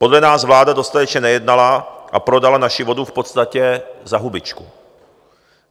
Podle nás vláda dostatečně nejednala a prodala naši vodu v podstatě za hubičku.